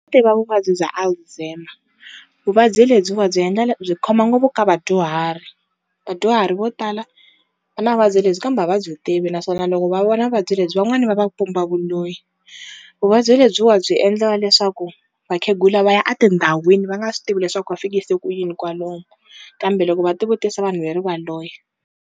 Tiva vuvabyi bya Alzheimer, vuvabyi lebyiwa byi byi khoma ngopfu ka vadyuhari, vadyuhari vo tala va na vuvabyi lebyi kambe a va byi tivi naswona loko va vona vuvabyi lebyi van'wani va va pumba vuloyi. Vuvabyi lebyiwa byi endla leswaku vakhegula va ya a tindhawini va nga swi tivi leswaku va fikise ku yini kwalomu kambe loko va ti vutisa vanhu ve ri va loya.